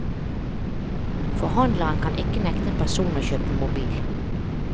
Forhandleren kan ikke nekte en person å kjøpe mobil.